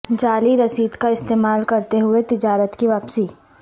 جعلی رسید کا استعمال کرتے ہوئے تجارت کی واپسی